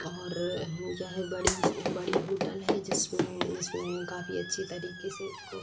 और यह बड़ी-स् बड़ी होटल है जिसमें जिसमें काफी अच्छी तरीके से इसको --